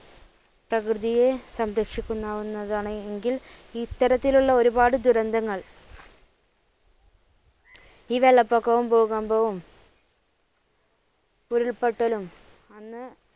പ്രകൃതിയെ സംരക്ഷിക്കുന്ന ഒന്നതാണെങ്കിൽ ഇത്തരത്തിലുള്ള ഒരുപാട് ദുരന്തങ്ങൾ ഈ വെള്ളപ്പൊക്കവും, ഭൂകമ്പവും ഉരുൾപൊട്ടലും